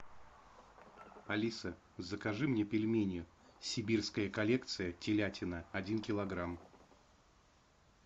алиса закажи мне пельмени сибирская коллекция телятина один килограмм